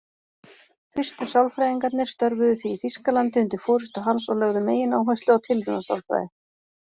Fyrstu sálfræðingarnir störfuðu því í Þýskalandi undir forystu hans og lögðu megináherslu á tilraunasálfræði.